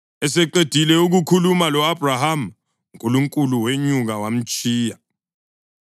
Eseqedile ukukhuluma lo-Abhrahama, uNkulunkulu wenyuka wamtshiya.